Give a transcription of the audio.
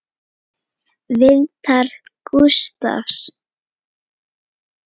Viðtal Gústafs